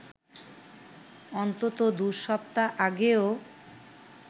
অন্তত দুই সপ্তাহ আগেও